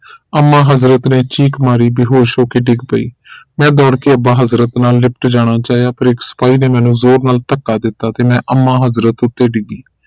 ਅੰਮਾ ਹਜ਼ਰਤ ਨੇ ਚੀਖ ਮਾਰੀ ਤੇ ਬੇਹੋਸ਼ ਹੋਕੇ ਡਿੱਗ ਪਈ ਮੈਂ ਦੌੜ ਕੇ ਅੱਬਾ ਹਜ਼ਰਤ ਨਾਲ ਲਿਪਟ ਜਾਣਾ ਚਾਹਿਆ ਪਰ ਇਕ ਸਿਪਾਹੀ ਨੇ ਮੈਨੂੰ ਜ਼ੋਰ ਨਾਲ ਧੱਕਾ ਦਿੱਤਾ ਤੇ ਮੈਂ ਅੰਮਾ ਹਜ਼ਰਤ ਉੱਤੇ ਡਿੱਗੀ